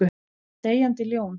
Deyjandi ljón.